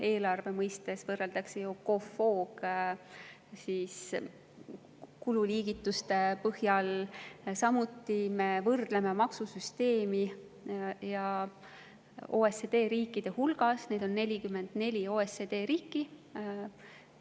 Eelarve mõistes võrreldakse COFOG‑kululiigituste põhjal, samuti me võrdleme OECD riikide maksusüsteeme, neid OECD riike on 44.